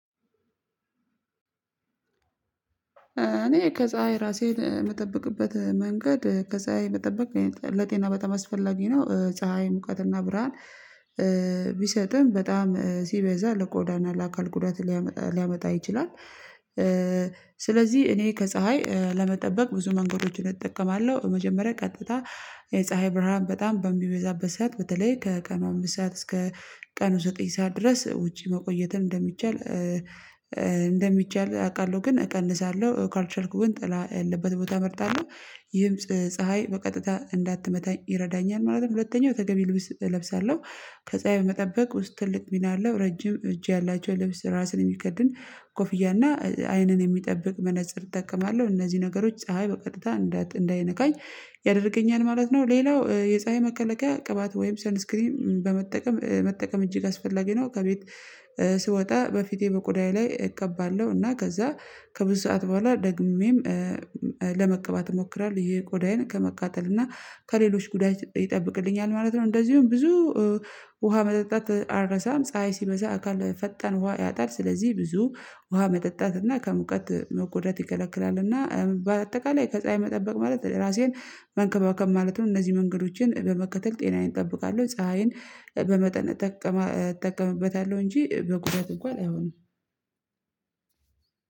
እኔ ከፀሀይ ራሴን የምጠብቅበት መንገድ ከፀሀይ መጠበቅ ለጤና በጣም አስፈላጊ ነው ፀሀይ ሙቀትና ብርሃን። እኔ ከፀሀይ ራሴን የምጠብቅበት መንገድ ከፀሀይ መጠበቅ ለጤና በጣም አስፈላጊ ነው ፀሀይ ሙቀትና ብርሃን። ስለዚህ እኔ ከፀሀይ ለመጠበቅ ብዙ መንገዶችን እጠቀማለሁ። መጀመሪያ ቀጥታ የፀሀይ ብርሃን በጣም በሚበዛበት ሰዓት በተለይ ከቀኑ አምስት ሰዓት እስከ ቀኑ ዘጠኝ ሰዓት ድረስ ውጪ መቆየትን። እንደሚቻል አውቃለሁ ግን እቀንሳለሁ ካልቻልኩም ጥላ ያለበት ቦታ እመርጣለሁ። ይህም ፀሀይ በቀጥታ እንዳትመታኝ ይረዳኛል ማለት ነው። ሁለተኛው ተገቢ ልብስ እለብሳለሁ። ከፀሀይ በመጠበቅ ውስጥ ትልቅ ሚና አለው ረጅም እጄ ያላቸው ለብስ ራስን የሚከድን ኮፍያ እና አይንን የሚጠብቅ መነፀር እጠቀማለሁ። እነዚህ ነገሮች ፀሀይ በቀጥታ እንዳይነካኝ ያደርገኛል ማለት ነው። ሌላው የፀሀይ መከላከያ ቅባት ወይም ሰልስክሪም በመጠቀም መጠቀም እጅግ አስፈላጊ ነው። ከቤት ስወጣ በፊቴ በቁዳዬ ላይ እቀባለሁ እና ከዛ ከብዙ ሰዓት በኋላ ደግሜም ለመቀባት እሞክራለሁ። ይሄ ቆዳዬን ከመቃጠል እና ከሌሎች ጉዳይ ይጠብቅልኛል ማለት ነው። እንደዚሁም ብዙ ውሃ መጠጣት አረሳም። ፀሀይ ሲበሳ አካል ፈጣን ውሃ ያጣል። ስለዚህ ብዙ ውሃ መጠጣት እና ከሙቀት መቁደጥ ይከለክላል። እና በአጠቃላይ ከፀሀይ መጠበቅ ማለት ራሴን መንከባከብ ማለት ነው። እነዚህ መንገዶችን በመከተል ጤናዬን እጠብቃለሁ። ፀሀይን በመጠን እጠቀምበታለሁ እንጂ በጉዳት እንኳን አይሆንም።